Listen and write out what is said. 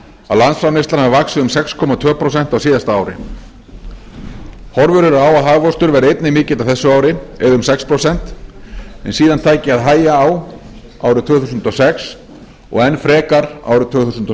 að landsframleiðslan hafi vaxið um sex komma tvö prósent á síðasta ári horfur eru á að hagvöxtur verði einnig mikill á þessu ári eða um sex prósent en síðan taki að hægja á árið tvö þúsund og sex og enn frekar árið tvö þúsund og